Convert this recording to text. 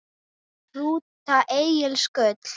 Rúta Egils Gull